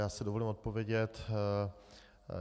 Já si dovolím odpovědět.